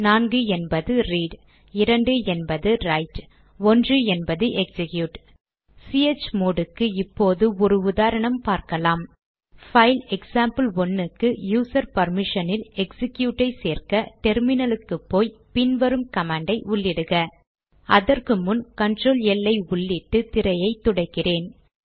4 என்பது ரீட் 2 என்பது ரைட் 1 என்பது எக்சிக்யூட் சிஹெச்மோட் க்கு இப்போது ஒரு உதாரணம் பார்க்கலாம் பைல் எக்சாம்பிள்1 க்கு யூசர் பர்மிஷனில் எக்சிக்யூட் ஐ சேர்க்க டெர்மினல் க்கு போய் பின் வரும் கமாண்ட் ஐ உள்ளிடுக அதற்கு முன் கண்ட்ரோல் எல் ஐ உள்ளிட்டு திரையை துடைக்கிறேன்